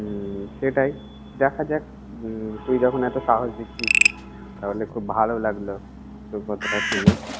হুমম সেটাই। দেখা যাক, উম তুই যখন এতো সাহস দিচ্ছিস, তাহলে খুব ভালো লাগল তোর কথাটা শুনে।